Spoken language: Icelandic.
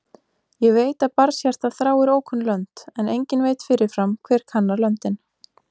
Ég veit að barnshjartað þráir ókunn lönd, en enginn veit fyrirfram hver kannar löndin.